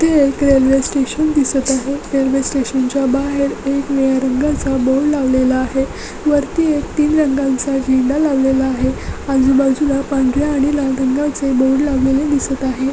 इथे railway station दिसत आहे रेल्वे स्टेशन च्या बाहेर एक निळ्या रंगाचा बोर्ड लावलेला आहे वरती एक तीन रंगांचा झेंडा लावलेला आहे आजूबाजूला पांढर्‍या आणि लाल रंगाचे बोर्ड लावलेले दिसत आहेत.